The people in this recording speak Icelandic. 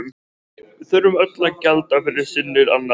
Við þurfum öll að gjalda fyrir syndir annarra.